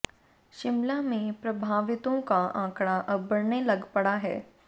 शिमला में प्रभावितों का आंकड़ा अब बढ़ने लग पड़ा है